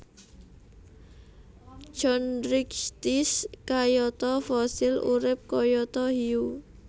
Chondrichthyes kayata Fossil urip kayata Hiu